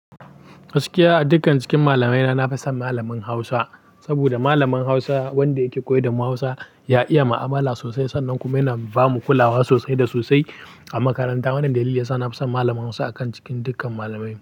Gaskiya a dukkan cikin malamaina nafi son malamin Hausa. Saboda malamin Hausa wanda yake koyar damu Hausa ya iya ma'amala sosai. Sannan kuma yana bamu kulawa sosai da sosai a makaranta. Wannan dalili yasa nafi son malamin Hausa a kan cikin dukkan malamai.